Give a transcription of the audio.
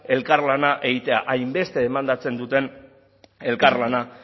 elkarlana egitea hainbeste demandatzen duten elkarlana